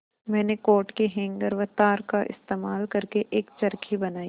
मैंने कोट के हैंगर व तार का इस्तेमाल करके एक चरखी बनाई